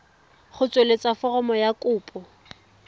go tsweletsa foromo ya kopo